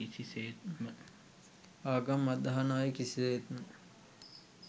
ආගම් අදහන අය කිසිසේත්ම